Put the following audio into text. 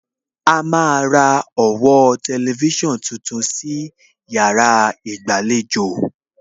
A máa ra ọ̀wọ́ tẹlifísàn tuntun sí yàrá ìgbàlejò